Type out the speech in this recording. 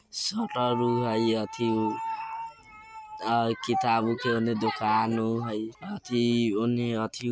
सारा लोग किताबों के ओने दुकान हई अथी ओने अथी यो हई ।